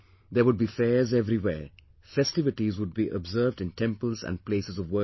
There would be fairs everywhere, festivities would be observed in temples and places of worship